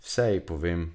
Vse ji povem.